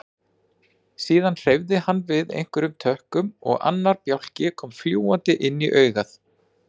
Síðan hreyfði hann við einhverjum tökkum og annar bjálki kom fljúgandi inn á augað.